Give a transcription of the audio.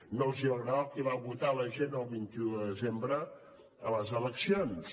no els va agradar el que va votar la gent el vint un de desembre a les eleccions